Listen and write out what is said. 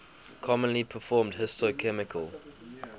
commonly performed histochemical